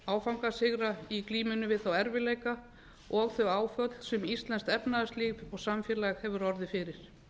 áfangasigra í glímunni við þá erfiðleika og þau áföll sem íslenskt efnahagslíf og samfélag hefur orðið fyrir